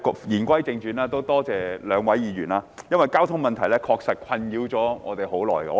言歸正傳，多謝兩位議員，因為交通問題確實困擾我們很長時間。